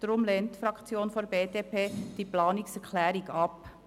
Deshalb lehnt die Fraktion der BDP diese Planungserklärung ab.